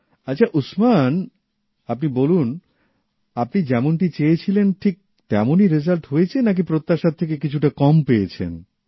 আচ্ছা উসমান আপনি বলুন আপনি যেমনটি চেয়ে ছিলেন ঠিক তেমনই রেজাল্ট হয়েছে নাকি প্রত্যাশার থেকে কিছুটা কম পেয়েছেন